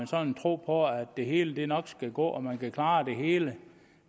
sådan en tro på at det hele nok skulle gå og at man kunne klare det hele